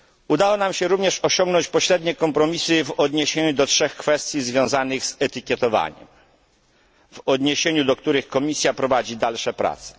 Udało nam się również osiągnąć pośrednie kompromisy w odniesieniu do trzech kwestii związanych z etykietowaniem, na temat których Komisja prowadzi dalsze prace.